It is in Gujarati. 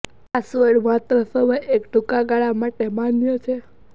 પાસવર્ડ માત્ર સમય એક ટૂંકા ગાળા માટે માન્ય છે